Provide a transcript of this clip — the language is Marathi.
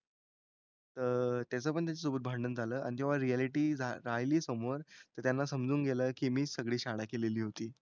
तर त्याचं पण त्याच्यासोबत भांडण झालं. आणि जेव्हा रिऍलिटी रा राहिली समोर तर त्यांना समजून गेलं की मीच सगळी शाळा केलेली होती.